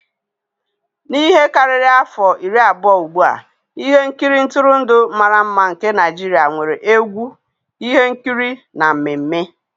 N'ihe karịrị afọ iri abụọ ugbu a, ihe nkiri ntụrụndụ mara mma nke Naijiria nwere egwu, ihe nkiri na mmemme.